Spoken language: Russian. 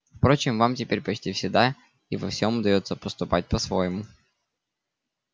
впрочем вам теперь почти всегда и во всем удаётся поступать по-своему